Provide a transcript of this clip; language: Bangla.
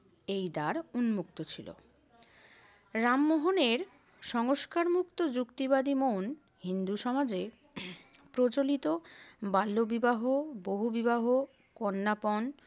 এই দ্বার উন্মুুক্ত ছিল। রামমোহনের সংস্কারমুক্ত যুক্তিবাদী মন হিন্দু সমাজে প্রচলিত বাল্যবিবাহ, বহুবিবাহ, কন্যাপণ